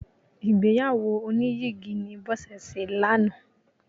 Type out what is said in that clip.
Ìgbéyàwó oníyìgì ni Bọ́sẹ̀ ṣe lánàá.